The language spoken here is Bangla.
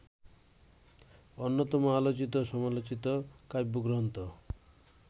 অন্যতম আলোচিত-সমালোচিত কাব্যগ্রন্থ